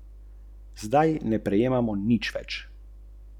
Država ni nekaj, kar bi bilo dano od boga ali vsiljeno od zunaj.